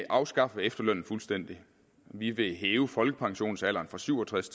afskaffe efterlønnen fuldstændig vi vil hæve folkepensionsalderen fra syv og tres